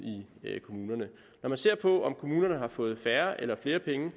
i kommunerne når man ser på om kommunerne har fået færre eller flere penge